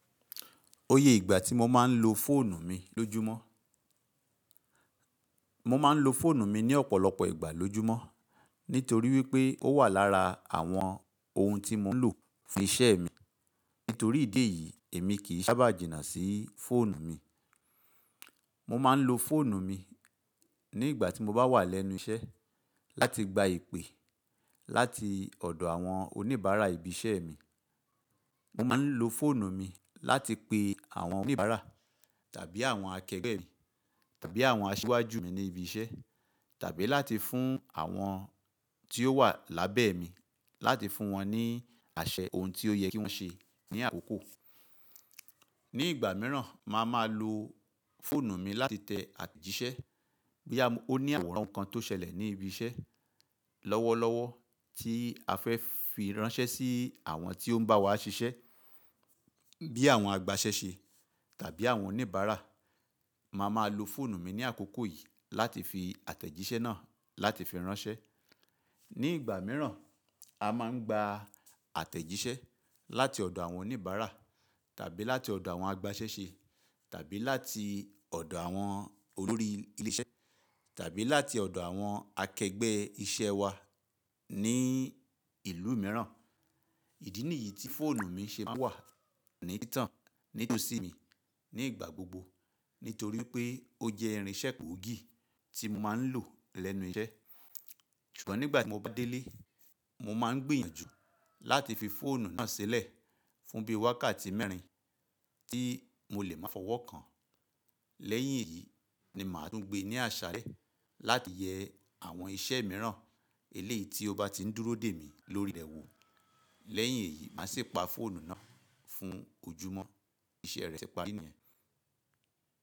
Oye ìgbà tí mo máa ń lo fóònù mi lójúmọ́. Mo máa ń lo fóònù mi ní ọ̀pọ̀lọpọ̀ ìgbà lójúmọ́, nítorí wípé ó wà lára àwọn ohun tí mo ń lò fún isẹ́ mi. Nítorí ìdí èyí, èmi kì í sábà jìnnà sí fóònù mi. Mo máa ń lo fóònù mi ní ìgbà tí mo bá wà lẹ́nu isẹ́ láti gba ìpè láti ọ̀dọ̀ àwọn oníbàárà ibi isẹ́ mi. Mo máa ń lo fóònù mi láti pe àwọn oníbàárà tàbí àwọn akẹgbẹ́ mi tàbí àwọn asíwájú mi ní ibi isẹ́ tàbí láti fún àwọn tí ó wà lábẹ́ mi láti fún wọn ní àṣẹ ohun tí ó yẹ kí wọ́n ṣe ní àkókò. Ní ìgbà míràn, màá máa lo fóònù mi láti tẹ àtẹ̀jíṣẹ́ boya ó ní àwòrán ohun kan tó ṣẹlẹ̀ ní ibi isẹ́ lọ́wọ́lọ́wọ́ tí a fẹ́ fi ránṣẹ́ sí àwọn tí ó ń bá wa ṣiṣẹ́ bí i àwọn agbasẹ́se tàbí àwọn oníbàárà. Màá máa lo fóònù mi ní àkókò yìí láti fi àtẹ̀jíṣẹ́ náà láti fi ránṣẹ́. Ní ìgbà míràn, a máa ń gba àtẹ̀jíṣẹ́ láti ọ̀dọ̀ àwọn oníbàárà tàbí láti ọ̀dọ̀ àwọn agbasẹ́se tàbí láti ọ̀dọ̀ àwọn olórí ilé iṣẹ́ tàbí láti ọ̀dọ̀ àwọn akẹgbẹ́ iṣẹ́ wa ní ìlú míràn. Ìdí nìyí tí fóònù mi ṣe máa wà ní títàn nítòsí mi nígbà gbogbo nítorí pé ó jẹ́ irinṣẹ́ pọ́ọ̀gì tí mo máa ń lò lẹ́nu iṣẹ́. Ṣùgbọ́n nígbà tí mo bá dé ilé, mo máa ń gbìyànjú láti fi fóònù náà sílẹ̀ fún bí wákàtí mẹ́rin tí mo lè máa fọwọ́ kàn. Lẹ́yìn èyí ni màá tún gbé e ní àṣàlẹ láti yẹ àwọn iṣẹ́ míràn eléyìí tí ó bá ti ń dúró dè mí lórí rẹ wo. Lẹ́yìn èyí, màá sì pa fóònù náà fún ojúmọ́. Iṣẹ́ rẹ̀ ti parí nìyẹn.